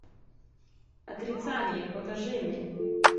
отрицание покажи мне